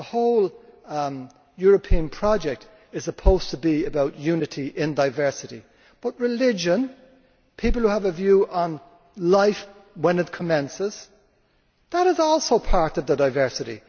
The whole European project is supposed to be about unity in diversity, but religion, and people who have a view on life when it commences, is also part of the diversity.